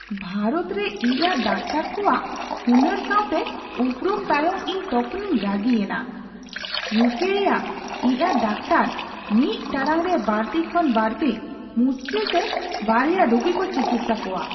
ᱵᱷᱟᱨᱚᱛ ᱨᱮ ᱤ ᱟᱨ ᱰᱟᱠᱛᱟᱨ ᱠᱚᱣᱟᱜ ᱦᱩᱱᱟᱹᱨ ᱥᱟᱣᱴᱮ ᱩᱯᱨᱩᱢ ᱛᱟᱭᱚᱢ, ᱤᱧ ᱛᱚᱠᱷᱚᱱᱤᱧ ᱨᱟᱹᱜᱤᱭᱮᱱᱟ ᱤᱭᱩ ᱨᱮᱭᱟᱜ ᱠᱮ ᱤ ᱟᱨ ᱰᱟᱠᱛᱟᱨ ᱢᱤᱫ ᱴᱟᱲᱟᱝ ᱨᱮ ᱵᱟᱹᱲᱛᱤ ᱠᱷᱚᱱ ᱵᱟᱹᱲᱛᱤ ᱢᱩᱥᱠᱤᱞᱛᱮ ᱒ᱭᱟ ᱨᱩᱜᱤ ᱠᱚ ᱪᱤᱠᱤᱛᱥᱟ ᱠᱚᱣᱟ ᱾